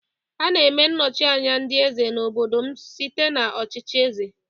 A na-eme nnochi anya ndị eze n'obodo m site n'ọchịchị eze.